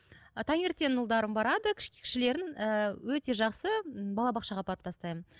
ы таңертең ұлдарым барады кішілерін ііі өте жақсы балабақшаға апарып тастаймын